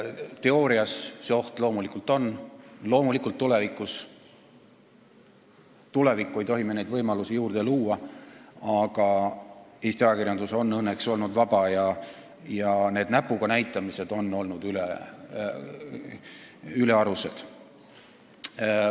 Teoorias on oht olemas ja loomulikult ei tohi me neid võimalusi tulevikuks juurde luua, aga Eesti ajakirjandus on õnneks olnud vaba ja sellised näpuga näitamised on olnud ülearused.